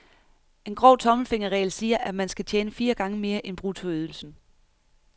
En grov tommelfingerregel siger, at man skal tjene fire gange mere end bruttoydelsen.